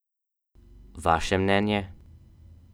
Vaše mnenje?